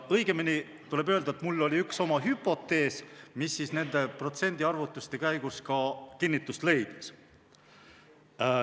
Õigemini tuleb öelda, et mul oli üks hüpotees, mis nende protsendiarvutuste käigus ka kinnitust leidis.